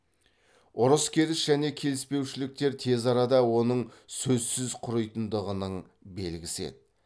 ұрыс керіс және келіспеушіліктер тез арада оның сөзсіз құритындығының белгісі еді